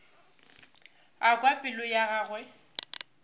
a kwa pelo ya gagwe